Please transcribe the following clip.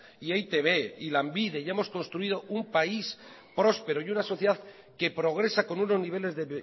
y e i te be y lanbide y hemos construido un país próspero y una sociedad que progresa con unos niveles de